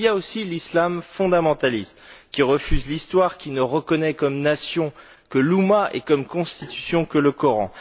Mais il y a aussi l'islam fondamentaliste, qui refuse l'histoire, qui ne reconnaît comme nation que l'oumma et comme constitution que le Coran.